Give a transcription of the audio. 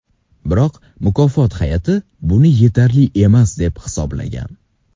Biroq mukofot hay’ati buni yetarli emas deb hisoblagan.